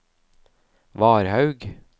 Varhaug